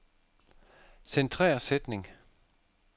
Centrer sætning.